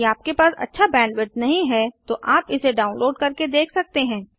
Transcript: यदि आपके पास अच्छा बैंडविड्थ नहीं है तो आप इसे डाउनलोड करके देख सकते हैं